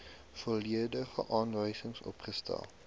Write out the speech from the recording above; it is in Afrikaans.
volledige aanwysings opgestel